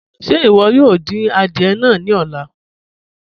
Ṣe iwọ yoo din àdìẹ̀ náà ni ọ̀lá?